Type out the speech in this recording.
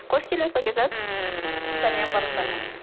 қош келдіңіз пакизат сәлем барлықтарыңа